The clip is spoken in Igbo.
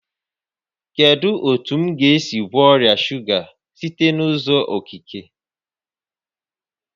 Kedu otu m ga-esi gwọọ ọrịa shuga site n'uzọ okike?